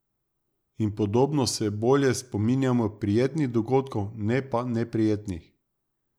In podobno se bolje spominjamo prijetnih dogodkov, ne pa neprijetnih.